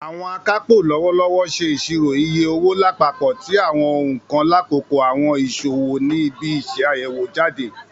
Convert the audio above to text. Àwọn akápò lọwọlọwọ ṣe iṣiro iye owo lapapọ ti àwọn ohun kan lakoko àwọn iṣowo ni ibi-iṣayẹwo-jade.